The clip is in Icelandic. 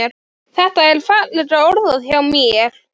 Þetta er fallega orðað hjá mér.